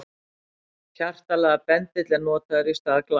Hjartalaga bendill er notaður í stað glass.